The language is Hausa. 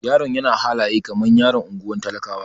Yaron yana halaye kamar yaron ungwar talakawa.